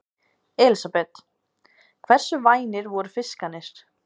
Elísabet: Hversu vænir voru fiskarnir?